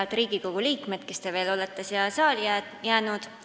Head Riigikogu liikmed, kes te olete veel siia saali jäänud!